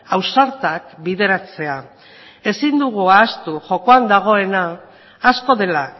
ausartak bideratzea ezin dugu ahaztu jokoan dagoena asko dela